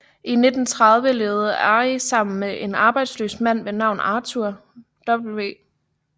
I 1930 levede Arrie sammen med en arbejdsløs mand ved navn Arthur W